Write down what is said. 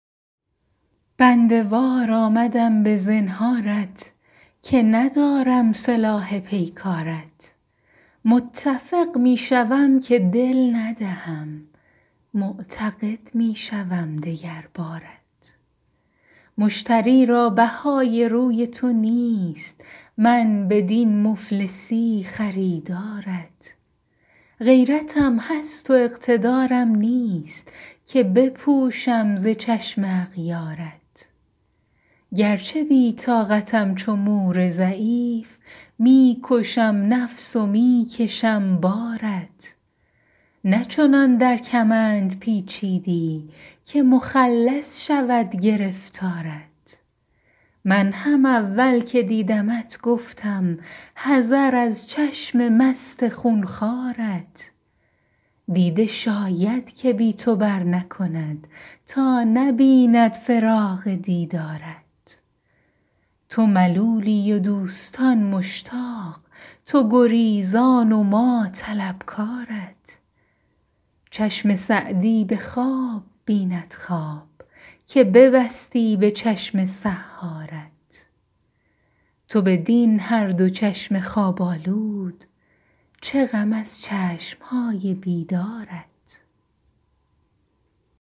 بنده وار آمدم به زنهارت که ندارم سلاح پیکارت متفق می شوم که دل ندهم معتقد می شوم دگر بارت مشتری را بهای روی تو نیست من بدین مفلسی خریدارت غیرتم هست و اقتدارم نیست که بپوشم ز چشم اغیارت گرچه بی طاقتم چو مور ضعیف می کشم نفس و می کشم بارت نه چنان در کمند پیچیدی که مخلص شود گرفتارت من هم اول که دیدمت گفتم حذر از چشم مست خون خوارت دیده شاید که بی تو برنکند تا نبیند فراق دیدارت تو ملولی و دوستان مشتاق تو گریزان و ما طلبکارت چشم سعدی به خواب بیند خواب که ببستی به چشم سحارت تو بدین هر دو چشم خواب آلود چه غم از چشم های بیدارت